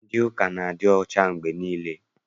Ndị ụka a na-adị ọcha mgbe niile.